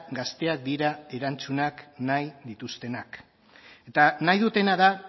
gazteak dira erantzunak nahi dituztenak eta nahi dutena da